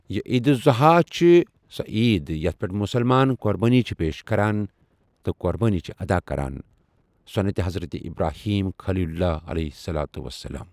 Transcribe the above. یہِ عید الضحیٰ چھِ سۄ عید یتھ پٮ۪ٹھ مسلمان قۄربٲنی چھِ پیش کران یا قۄربٲنی چھِ ادا کران سوٚنتہِ حضرت ابراہیم خلیل اللہ علیہ الصلوۃ والسلام۔